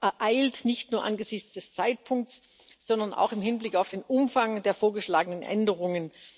ereilt, nicht nur angesichts des Zeitpunkts, sondern auch im Hinblick auf den Umfang der vorgeschlagenen Änderungen.